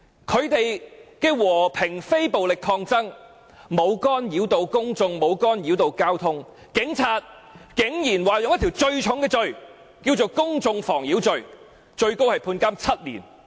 他們的和平非暴力抗爭，沒有干擾公眾也沒有干擾交通，但警察竟然以最嚴重的公眾妨擾罪拘捕他們，最高刑罰為監禁7年。